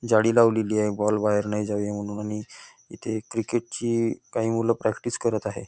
जाळी लावलेली आहे बॉल बाहेर जाऊ नये म्हणून आणि इथे क्रिकेटची काही मुले प्रॅक्टिस करत आहे.